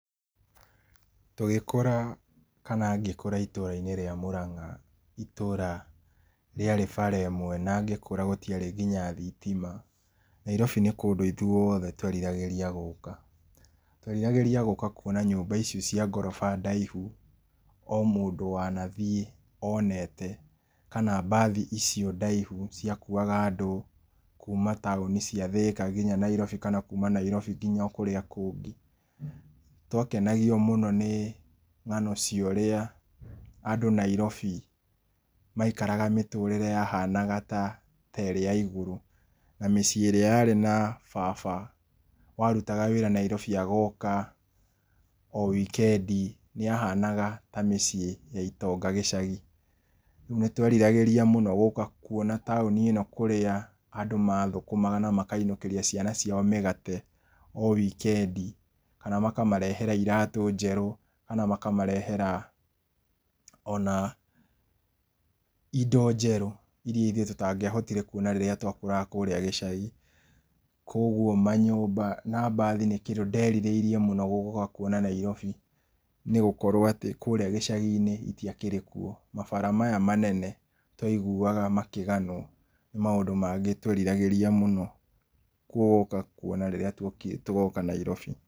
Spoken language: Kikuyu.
Tũgĩkũra kana ngĩkũra itũra-inĩ rĩa Murang'a, itũra rĩa bara ĩmwe na ngĩkũra gũtiarĩ nginya thitima. Nairobi nĩ kũndũ ithuothe tweriragĩria gũka. Tweriragĩria gũka kwona nyũmba icio cia ngoroba ndaihu o mũndũ wanathiĩ onete kana mbathi icio ndaihu ciakuaga andũ kuma taũni cia Thĩka nginya Nairobi kana kuma Nairobi nginya o kũrĩa kũngĩ. Nĩ twakenagio mũno ni ng'ano cia ũrĩa andũ Nairobi maikaraga mitũrĩre yahanaga ta, ta ĩrĩ ya igũrũ na mĩciĩ ĩrĩa yarĩ na baba warutaga wĩra Nairobi agoka o wikendi, yahanaga ta mĩciĩ ya itonga gĩcagi. Nĩ tweriragĩria mũno gũka kwona taũni ĩno kũrĩa andũ mathũkũmaga na makainũkĩria ciana ciao mĩgate o wikendi. Kana makamarehera iratũ njerũ, kana makamarehera ona indo njerũ iria ithuĩ tũtangĩahotire kwona rĩrĩa twakũraga kũrĩa gĩcagi. Koguo manyũmba na mbathi nĩ kĩndũ nderirĩirie mũno gũka kwona Nairobi nĩ gũkorwo atĩ kũrĩa gĩcagi-inĩ itiakĩrĩ kuo. Mabara maya manene twaiguaga makĩganwo nĩ maũndũ mangĩ tweriragĩria mũno gũka kwona rĩrĩa tũgoka Nairobi.